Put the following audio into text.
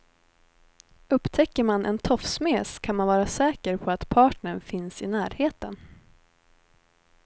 Upptäcker man en tofsmes kan man vara säker på att partnern finns i närheten.